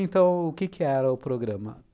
Então, o que que era o programa?